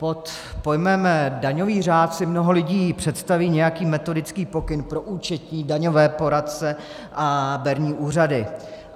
Pod pojmem daňový řád si mnoho lidí představí nějaký metodický pokyn pro účetní, daňové poradce a berní úřady.